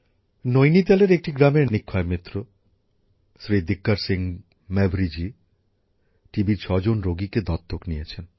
নৈনিতালের একটি গ্রামের নিক্ষয় বন্ধু শ্রী দীকর সিং মেভরিজি টিবির ৬জন রোগীকে দত্তক নিয়েছেন